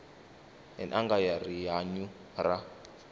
n anga ya rihanyu ra